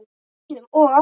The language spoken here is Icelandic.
Einum of